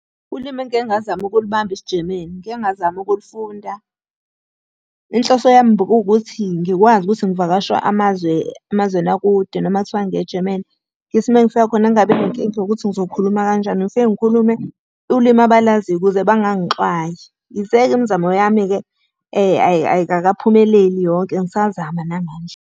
Ulimi engike ngazama ukulubamba isiJemeni, ngike ngazama ukulufunda. Inhloso yami bekuwukuthi ngikwazi ukuthi ngivakashe amazwe emazweni akude, noma kuthiwa ngiya eJemeni, Ngithi uma ngifika khona ngingabi nenkinga yokuthi ngizokhuluma kanjani ngifike ngikhulume ulimi abalaziyo ukuze bangangixwayi. Yize-ke imizamo yami-ke ayikakaphumeleli yonke ngisazama namanje.